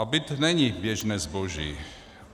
A byt není běžné zboží.